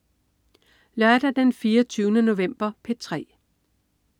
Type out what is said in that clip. Lørdag den 24. november - P3: